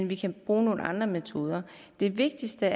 vi kan bruge nogle andre metoder det vigtigste